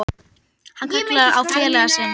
Hann kallar á félaga sinn.